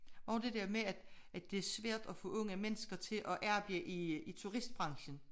Og det dér med at at det er svært at få unge mennesker til at arbejde i turistbranchen